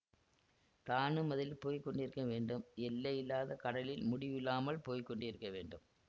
தானும் அதில் போய் கொண்டிருக்க வேண்டும் எல்லையில்லாத கடலில் முடிவில்லாமல் போய் கொண்டிருக்க வேண்டும்